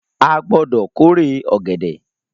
A gbọdọ k'ore ọgẹdẹ!